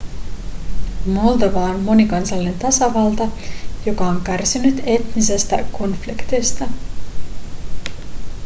moldova on monikansallinen tasavalta joka on kärsinyt etnisestä konfliktista